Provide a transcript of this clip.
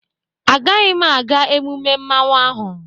Agaghị m aga emume mmanwu ahụ